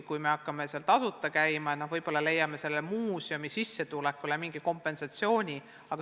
Kui me hakkame seal tasuta käima, siis võib-olla tuleks leida muuseumile mingi kompensatsioon.